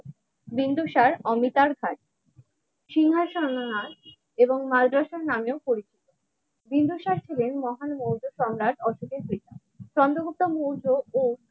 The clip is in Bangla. বিন্দুসার অমিতার ভাই সিংহাসন নার মার দর্শন নামে পরিচিত বিন্দুসার ছিলেন মহান মৌর্য সম্রাট অশোকের ব্যক্তি চন্দ্রগুপ্ত মৌর্য ও